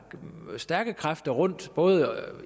stærke kræfter både